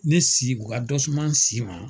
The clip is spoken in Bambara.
Ne si, o ka dɔ suma n si ma,